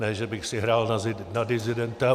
Ne že bych si hrál na disidenta.